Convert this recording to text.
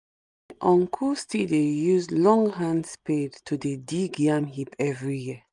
uncle still dey use long hand spade to dey dig yam heap every year